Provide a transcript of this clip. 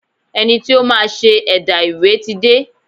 Ẹni tí ó máa ṣe ẹ̀dà ìwé ti dé.